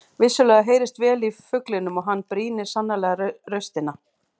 Vissulega heyrist vel í fuglinum og hann brýnir sannarlega raustina.